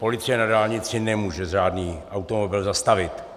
Policie na dálnici nemůže žádný automobil zastavit.